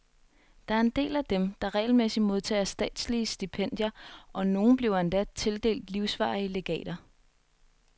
Der er en del af dem, der regelmæssigt modtager statslige stipendier, og nogle bliver endda tildelt livsvarige legater.